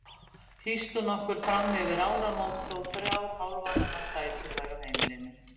Hýsti hún okkur frammyfir áramót þó þrjár hálfvaxnar dætur væru á heimilinu.